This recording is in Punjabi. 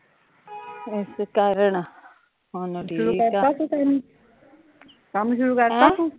ਇਸ ਕਾਰਣ, ਹੁਣ ਠੀਕ ਆ ਕੰਮ ਸ਼ੁਰੂ ਕਰਤਾ ਤੂ